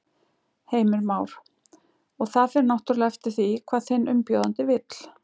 Heimir Már: Og það fer náttúrulega eftir því hvað þinn umbjóðandi vill?